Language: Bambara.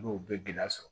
N'o bɛ gɛlɛya sɔrɔ